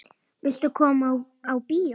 Viltu koma á bíó?